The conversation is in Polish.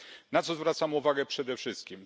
Na co zwracam uwagę przede wszystkim?